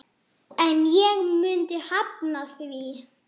En ég myndi hafna því.